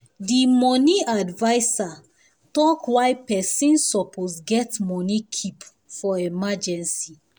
the money adviser talk why pesin supposed get money keep for emergency